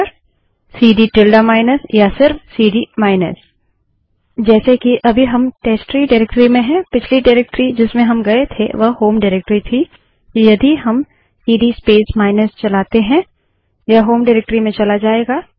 CD नरेशन CD space tilde minus या केवल सीडी नरेशन सीडी स्पेस माइनस जैसे कि अभी हम टेस्टट्री डाइरेक्टरी में हैं पिछली डाइरेक्टरी जिसमें हम गये थे वह होम डाइरेक्टरी थी तो यदि हम सीडी स्पेस माइनस चलाते हैं यह होम डाइरेक्टरी में चला जायेगा